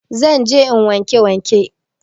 Zan je in wanke waken